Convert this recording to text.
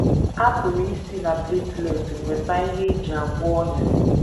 A pụrụ isi na platelet nweta ihe e ji agwọ ọnyá.